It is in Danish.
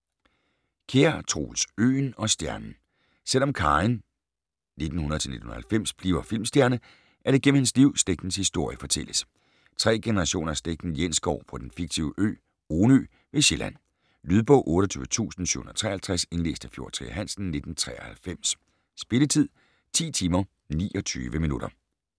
Kjær, Troels: Øen og stjernen Selvom Karin (1900-1990) bliver filmstjerne, er det gennem hendes liv, slægtens historie fortælles: tre generationer af slægten Jensgård på den fiktive ø, Onø, ved Sjælland. Lydbog 28753 Indlæst af Fjord Trier Hansen, 1993. Spilletid: 10 timer, 29 minutter.